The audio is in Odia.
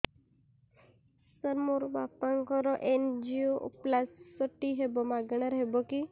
ସାର ମୋର ବାପାଙ୍କର ଏନଜିଓପ୍ଳାସଟି ହେବ ମାଗଣା ରେ ହେବ କି